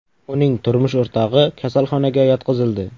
Uning turmush o‘rtog‘i kasalxonaga yotqizildi.